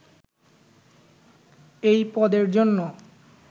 এ পদের জন্য